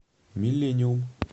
миллениум